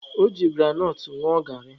O ji granọt ṅụọ garị.